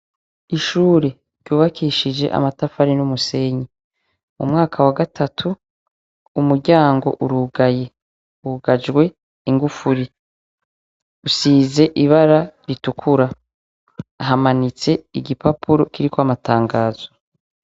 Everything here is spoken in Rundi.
Ishure ryubakishijwe amatafari n'umusenyi muwagatatu umuryango urugaye wugajwe ingufuri usize ibara ritukura hamanitse igipapuro kiriko amatangazo.